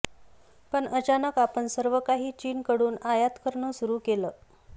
पण अचानक आपण सर्व काही चीनकडून आयात करणं सुरू केलं